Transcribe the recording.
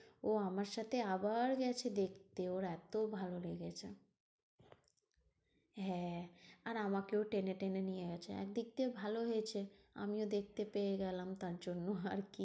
ও আমার সাথে আবার গেছে দেখতে ওর এত ভালো লেগেছে। হ্যাঁ আর আমাকেও টেনে টেনে নিয়ে গেছে। একদিক দিয়ে ভালো হয়েছে আমিও দেখতে পেয়েগেলাম তার জন্য আরকি?